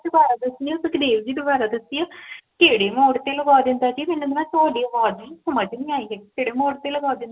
ਦੁਬਾਰਾ ਦਸਯੋ ਸੁਖਦੇਵ ਜੀ ਦੁਬਾਰਾ ਦਸਯੋ ਕੇਡੇ Mode ਤੇ ਲਵਾ ਦੰਦੇਦਾ ਜੀ ਮੈਨੂੰ ਤੁਹਾਡੀ ਅਵਾਜ਼ ਸਮਜ ਨਹੀਂ ਆਈ